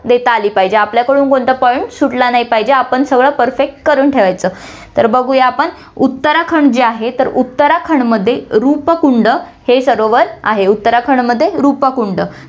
देता आली पाहिजे, आपल्याकडून कोणता पण सुटला नाही पाहिजे, आपण सगळं perfect करून ठेवायचं, तर बघूया आपण, उत्तराखंड जे आहे, उत्तराखंडमध्ये रूपकुंड हे सरोवर आहे, उत्तराखंडमध्ये रूपकुंड